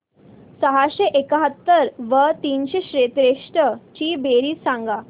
सहाशे एकाहत्तर व तीनशे त्रेसष्ट ची बेरीज सांगा